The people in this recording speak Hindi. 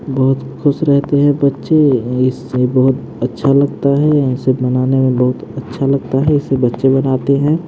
बहुत खुश रहते हैं बच्चे इससे बहुत अच्छा लगता है इसे बनाने में बहुत अच्छा लगता है इसे बच्चे बनाते है।